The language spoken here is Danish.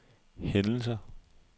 hændelser